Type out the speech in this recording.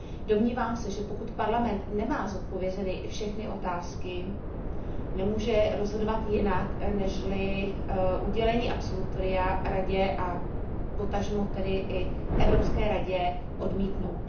Domnívám se, že pokud Parlament nemá zodpovězeny všechny otázky, nemůže rozhodovat jinak, nežli udělení absolutoria Radě a potažmo tedy i Evropské radě odmítnout.